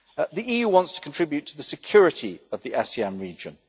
The EU wants to contribute to the security of the ASEAN region.